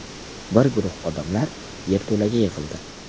Bir guruh odamlar yerto‘laga yig‘ildi.